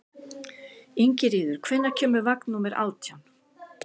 Ingiríður, hvenær kemur vagn númer nítján?